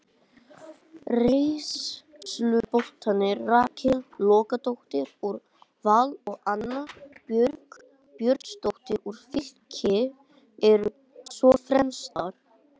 Reynsluboltarnir Rakel Logadóttir úr Val og Anna Björg Björnsdóttir úr Fylki eru svo fremstar.